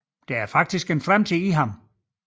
Der er faktisk fremtid i ham